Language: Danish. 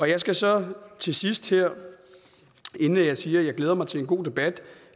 jeg skal så til sidst her inden jeg siger at jeg glæder mig til en god debat